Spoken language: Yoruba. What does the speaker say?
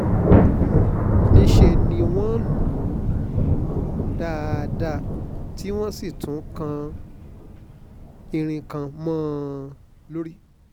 níṣẹ́ ni wọ́n lù lù ú dáadáa tí wọ́n sì tún kan irin kan mọ́ ọn lórí